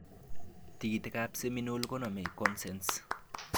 Tikiikikab seminal koname kosenesce